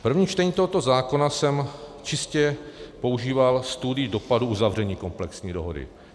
V prvním čtení tohoto zákona jsem čistě používal studii dopadů uzavření komplexní dohody.